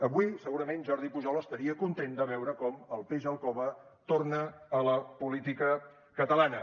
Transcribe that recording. avui segurament jordi pujol estaria content de veure com el peix al cove torna a la política catalana